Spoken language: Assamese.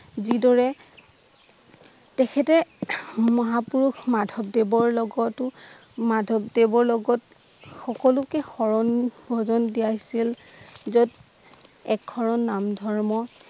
যিদৰে তেখেতে মহাপুৰুষ মাধৱদেৱৰ লগতো মাধবদেৱৰ লগত সকলোকে সৰণ ভজন দিয়াইছিল যত একশৰণ নাম ধৰ্ম